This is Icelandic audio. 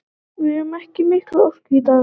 Við höfðum ekki mikla orku í dag.